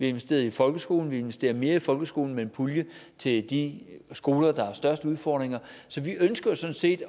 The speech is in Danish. investeret i folkeskolen og vi investerer mere i folkeskolen med en pulje til de skoler der har de største udfordringer så vi ønsker sådan set